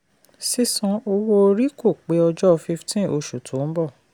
sísan owó orí kó pé ọjọ́ 15 oṣù tó ń bọ̀.